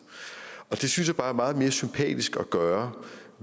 og det synes jeg bare er meget mere sympatisk at gøre